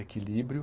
Equilíbrio.